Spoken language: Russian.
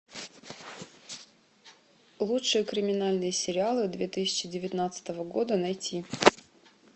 лучшие криминальные сериалы две тысячи девятнадцатого года найти